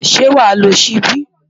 Ṣé wàá lo ṣíbí?